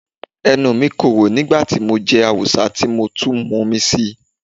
Ẹnu mi korò nígbà tí mo jẹ awùsá tí mo tún mun omi síi.